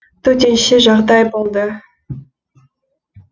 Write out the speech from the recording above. төтенше жағдай болды